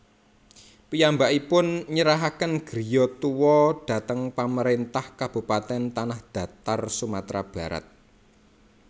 Piyambankipun nyerahaken griya tua dhateng Pamarentah Kabupaten Tanahdatar Sumatra Barat